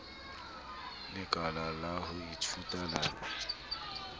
lekala la ho ithuta la